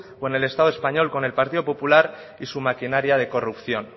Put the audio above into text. con el estado español con el partido popular y su maquinaria de corrupción